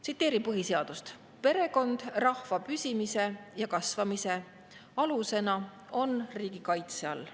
Tsiteerin põhiseadust: "Perekond rahva püsimise ja kasvamise alusena on riigi kaitse all.